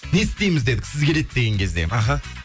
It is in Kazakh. не істейміз дедік сіз келеді деген кезде аха